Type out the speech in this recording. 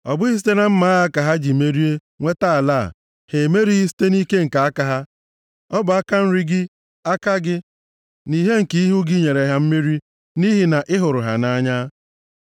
Ọ bụghị site na mma agha ha ka ha ji merie nweta ala a, ha emerighị site nʼike nke aka ha; ọ bụ aka nri gị, aka gị, na ìhè nke ihu gị nyere ha mmeri, nʼihi na ị hụrụ ha nʼanya.